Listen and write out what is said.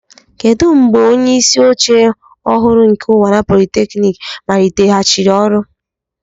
Kedu mgbe onye isi oche ọhụrụ nke Unwana polytechnic maliteghachiri ọrụ?